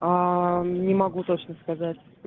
не могу точно сказать